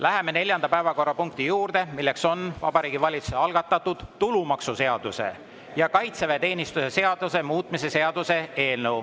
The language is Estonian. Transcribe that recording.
Läheme neljanda päevakorrapunkti juurde, milleks on Vabariigi Valitsuse algatatud tulumaksuseaduse ja kaitseväeteenistuse seaduse muutmise seaduse eelnõu.